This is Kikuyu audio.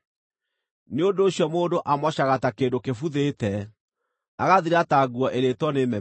“Nĩ ũndũ ũcio mũndũ amocaga ta kĩndũ kĩbuthĩte, agathira ta nguo ĩrĩĩtwo nĩ memenyi.